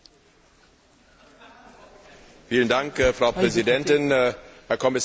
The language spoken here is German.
Frau Präsidentin, Herr Kommissar, liebe Kolleginnen und Kollegen!